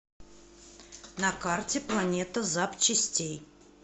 на карте планета запчастей